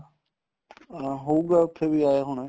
ਹਾਂ ਹੋਊਗਾ ਉੱਥੇ ਵੀ ਆਇਆ ਹੋਣਾ